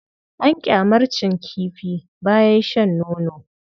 An ƙyamarcin kifi bayan shan nono.